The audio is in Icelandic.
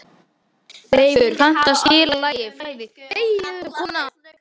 Leifur, kanntu að spila lagið „Flæði“?